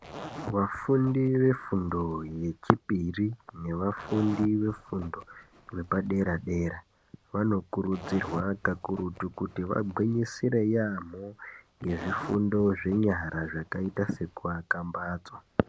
Vafundi vefundo yechipiri nevafundi vefundo vepadera dera vanokurudzirwa kakurutu kuti vagwinyisire yaamho ngezvifundo zvenyara zvakaita sekuaka mbatso